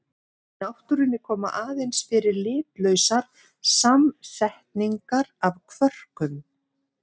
Í náttúrunni koma aðeins fyrir litlausar samsetningar af kvörkum.